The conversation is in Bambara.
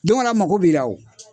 Don wɛrɛ a mago b'i la o.